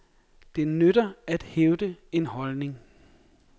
Det nytter at hævde en holdning.